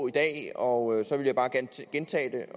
i dag og så vil jeg bare gentage